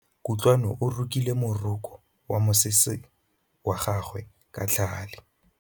Kutlwanô o rokile morokô wa mosese wa gagwe ka tlhale.